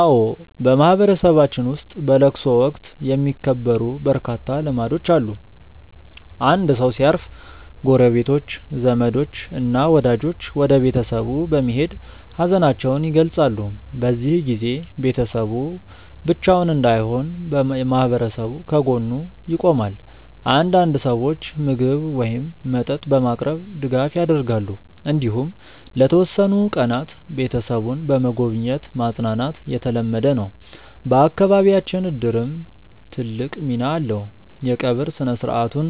አዎ፣ በማህበረሰባችን ውስጥ በለቅሶ ወቅት የሚከበሩ በርካታ ልማዶች አሉ። አንድ ሰው ሲያርፍ ጎረቤቶች፣ ዘመዶች እና ወዳጆች ወደ ቤተሰቡ በመሄድ ሀዘናቸውን ይገልጻሉ። በዚህ ጊዜ ቤተሰቡ ብቻውን እንዳይሆን ማህበረሰቡ ከጎኑ ይቆማል። አንዳንድ ሰዎች ምግብ ወይም መጠጥ በማቅረብ ድጋፍ ያደርጋሉ። እንዲሁም ለተወሰኑ ቀናት ቤተሰቡን በመጎብኘት ማጽናናት የተለመደ ነው። በአካባቢያችን እድርም ትልቅ ሚና አለው፤ የቀብር ሥነ-ሥርዓቱን